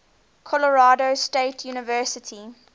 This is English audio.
colorado state university